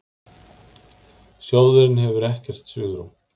Sjóðurinn hefur ekkert svigrúm